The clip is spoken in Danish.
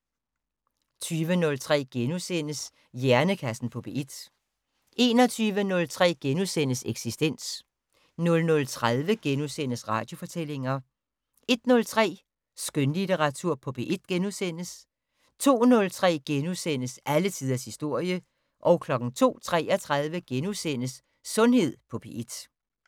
20:03: Hjernekassen på P1 * 21:03: Eksistens * 00:30: Radiofortællinger * 01:03: Skønlitteratur på P1 * 02:03: Alle tiders historie * 02:33: Sundhed på P1 *